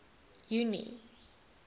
junie